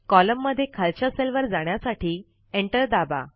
column मध्ये खालच्या सेलवर जाण्यासाठी Enter दाबा